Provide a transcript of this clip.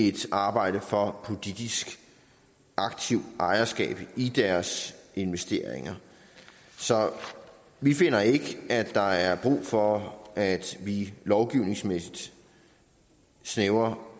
et arbejde for politisk aktivt ejerskab i deres investeringer vi finder ikke at der er brug for at vi lovgivningsmæssigt snævrer